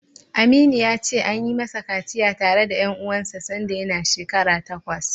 Aminu ya ce, an yi masa kaciya tare da ƴan uwansa sanda yana shekara takwas.